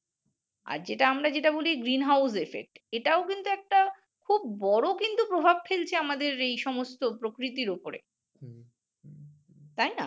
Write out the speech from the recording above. আর আমরা যেটা বলি green house affect এটাও কিন্তু একটা খুব বড় কিন্তু প্রভাব ফেলছে আমাদের এই সমস্ত প্রকৃতির উপরে তাই না